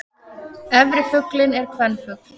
Efri fuglinn er kvenfugl.